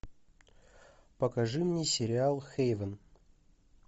покажи мне сериал хейвен